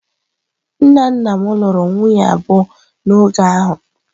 Nna nna m lụrụ nwunye abụọ n’oge ahụ.